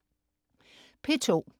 P2: